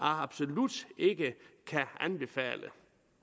absolut ikke kan anbefale